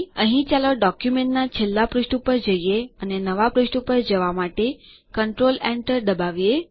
અહીં ચાલો ડોક્યુમેન્ટના છેલ્લા પુષ્ઠ ઉપર જઈએ અને નવાં પુષ્ઠ ઉપર જવાં માટે કન્ટ્રોલ enter દબાવીએ